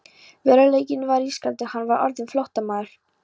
Veruleikinn var ískaldur: Hann var orðinn flóttamaður.